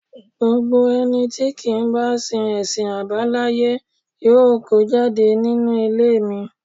Gbogbo ẹni tí kì í bá sin ẹ̀sìn àbáláyé yóò kó jáde nínú ilé mi